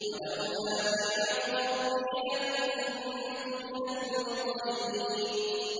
وَلَوْلَا نِعْمَةُ رَبِّي لَكُنتُ مِنَ الْمُحْضَرِينَ